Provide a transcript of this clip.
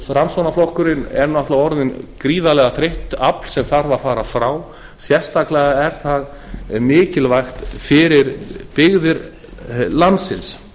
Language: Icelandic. framsóknarflokkurinn er náttúrlega orðinn gríðarlega þreytt afl sem þarf að fara frá sérstaklega er það mikilvægt fyrir byggðir landsins